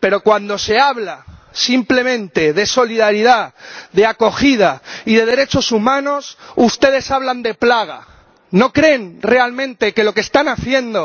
pero, cuando se habla simplemente de solidaridad, de acogida y de derechos humanos, ustedes hablan de plaga. ¿No creen realmente que lo que están haciendo